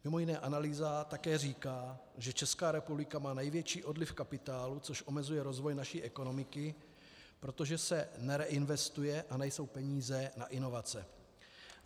Mimo jiné analýza také říká, že Česká republika má největší odliv kapitálu, což omezuje rozvoj naší ekonomiky, protože se nereinvestuje a nejsou peníze na inovace.